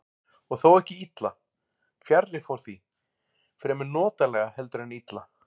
Og þó ekki illa, fjarri fór því, fremur notalega heldur en illa.